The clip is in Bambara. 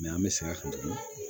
an bɛ segin a kan tuguni